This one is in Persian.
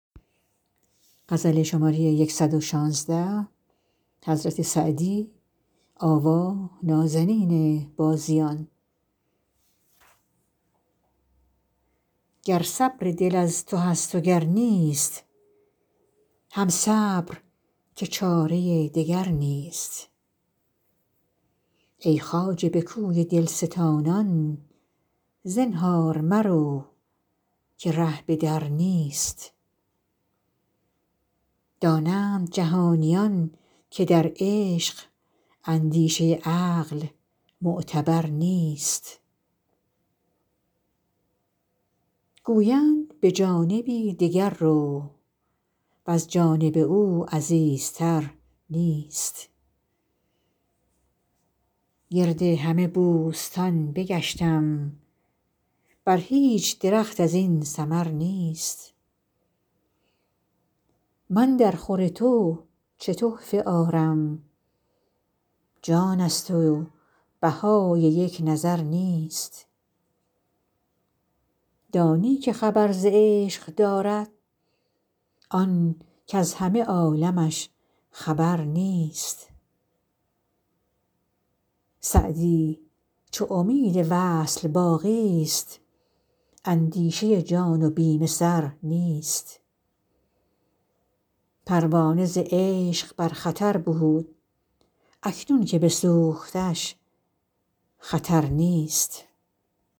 گر صبر دل از تو هست و گر نیست هم صبر که چاره دگر نیست ای خواجه به کوی دل ستانان زنهار مرو که ره به در نیست دانند جهانیان که در عشق اندیشه عقل معتبر نیست گویند به جانبی دگر رو وز جانب او عزیزتر نیست گرد همه بوستان بگشتیم بر هیچ درخت از این ثمر نیست من درخور تو چه تحفه آرم جان ست و بهای یک نظر نیست دانی که خبر ز عشق دارد آن کز همه عالمش خبر نیست سعدی چو امید وصل باقی ست اندیشه جان و بیم سر نیست پروانه ز عشق بر خطر بود اکنون که بسوختش خطر نیست